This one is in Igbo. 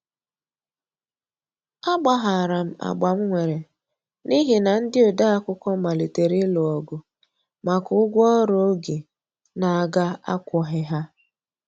A gbaharam agbam nwere n'ihi na ndi odeakwụkwọ malitere ilụ ogụ maka ụgwọ ọrụ oge n'aga akwoghi ha.